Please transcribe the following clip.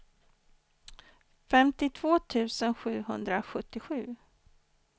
femtiotvå tusen sjuhundrasjuttiosju